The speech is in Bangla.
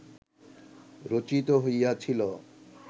রচিত হইয়াছিল